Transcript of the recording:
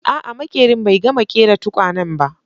A'a maƙerin bai gama ƙera tukwanen ba